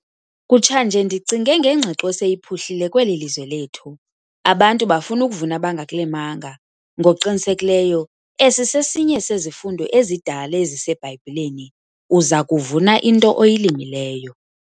Kutshanje ndicinge ngengqiqo eseyiphuhlile kweli lizwe lethu - abantu bafuna ukuvuna abangakulimanga. Ngokuqinisekileyo esi sesinye sezifundo ezidala eziseBhayibhileni - uza kuvuna into oyilimileyo.